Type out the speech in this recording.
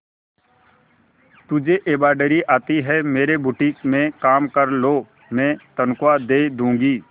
तुझे एंब्रॉयडरी आती है मेरे बुटीक में काम कर लो मैं तनख्वाह दे दूंगी